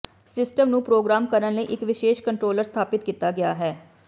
system ਨੂੰ programme ਕਰਨ ਲਈ ਇੱਕ ਵਿਸ਼ੇਸ਼ ਕੰਟਰੋਲਰ ਸਥਾਪਿਤ ਕੀਤਾ ਗਿਆ ਹੈ